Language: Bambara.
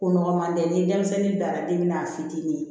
Ko nɔgɔman tɛ ni denmisɛnnin bilara den na a fitinin